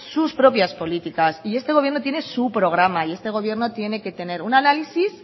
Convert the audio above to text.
sus propias políticas y este gobierno tiene su programa y este gobierno tiene que tener un análisis